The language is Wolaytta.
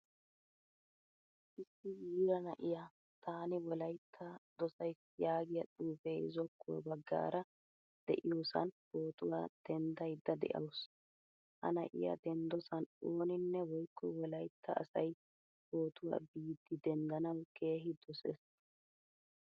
Issi yiiraa na'iyaa Taani wolaytta dosaysi yaagiyaa xuufe zokuawaa baggaara deiyosan pootuwaa denddayda de'awusu. Ha na'iyaa denddosan ooninnne woykko wolaytta asay pootuwaa biidi denddanawu keehin dosees.